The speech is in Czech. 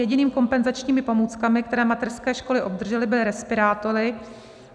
Jedinými kompenzačními pomůckami, které mateřské školy obdržely, byly respirátory.